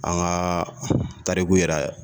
An ka tariku yɛrɛ